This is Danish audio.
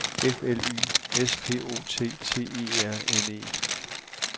F L Y - S P O T T E R N E